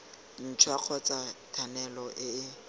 ntšhwa kgotsa thanolo e e